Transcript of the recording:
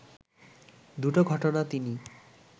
দুটো ঘটনা তিনি